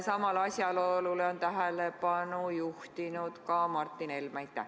Samale asjaolule on tähelepanu juhtinud ka Martin Helme.